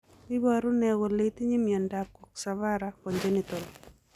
Iporu ne kole itinye miondap Coxa vara, congenital?